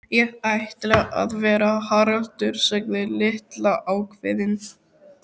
Ég ætla að vera Haraldur sagði Lilla ákveðin.